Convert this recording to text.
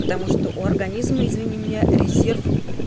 потому что у организма извини меня резерв